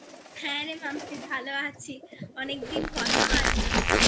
হ্যাঁ রে মাম্পি ভালো আছি অনেকদিন কথা হয় না